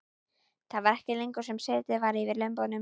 Það var ekki lengi sem setið var yfir lömbunum.